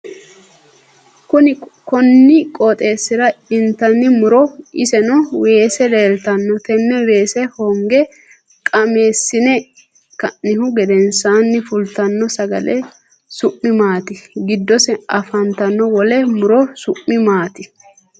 Konni qooxeesira intanni muro iseno weese leeltano tenne weese honge gaamsine ka'nihu gedensaanni fultano sagale su'mi maati? Gidose afanta wole muro su'mi maati?